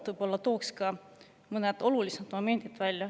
Toon ka sellest kohtumisest esile mõned olulisemad momendid.